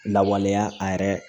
Lawaleya a yɛrɛ